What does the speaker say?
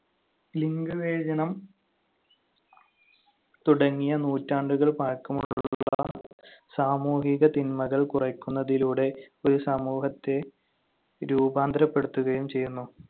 ലിംഗവിവേചനം തുടങ്ങിയ നൂറ്റാണ്ടുകൾ പഴക്കമുള്ള സാമൂഹിക തിന്മകൾ കുറയ്ക്കുന്നതിലൂടെ ഒരു സമൂഹത്തെ രൂപാന്തരപ്പെടുത്തുകയും ചെയ്യുന്നു.